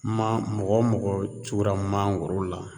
Man mɔgɔ o mɔgɔ tugula mangoro la